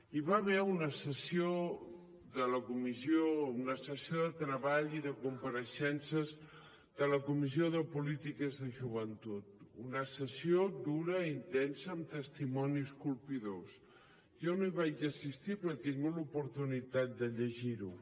hi va haver una sessió de treball i de compareixences de la comissió de polítiques de joventut una sessió dura i intensa amb testimonis colpidors jo no hi vaig assistir però he tingut l’oportunitat de llegir ho